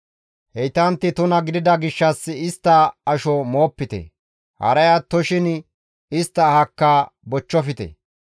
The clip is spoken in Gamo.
Heytantti tuna gidida gishshas istta asho moopite; haray attoshin istta ahakka bochchofte.